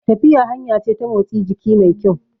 Tafiya hanya ce ta motsi jiki mai kyau